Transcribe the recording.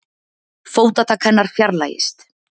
Fótatak hennar fjarlægist.